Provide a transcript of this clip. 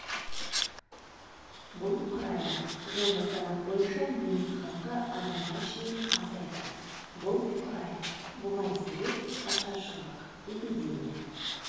бұл құрайды жылғы санақ бойынша неміс халқы адамға шейін азайды бұл құрайды бұған себеп ашаршылық эпидемия